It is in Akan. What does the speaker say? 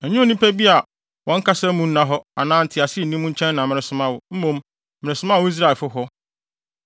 Ɛnyɛ nnipa bi a wɔn kasa mu nna hɔ anaa ntease nni mu nkyɛn na meresoma wo, mmom meresoma wo Israelfo hɔ.